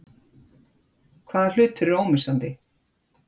Hvaða hlutur er ómissandi?